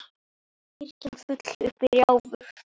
Kirkjan full upp í rjáfur.